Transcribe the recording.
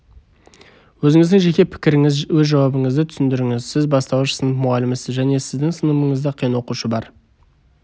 өзініздің жеке пікіріңіз өз жауабыңызды түсіндіріңіз сіз бастауыш сынып мұғалімісіз және сіздің сыныбыңызда қиын оқушы бар